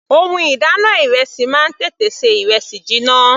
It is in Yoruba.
Ohun ìdáná ìrẹsì máa ń tètè ṣe ìrẹsì jiná.